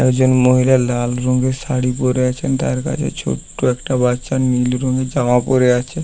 একজন মহিলা লাল রংয়ের শাড়ি পড়ে আছেন তার কাছে ছোট্ট একটা বাচ্চা নীল রঙের জামা পরে আছে ।